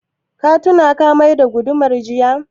Ka tuna ka mai da gudumar jiya?